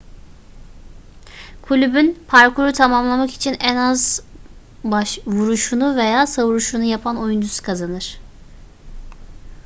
kulübün parkuru tamamlamak için en az vuruşunu veya savuruşunu yapan oyuncusu kazanır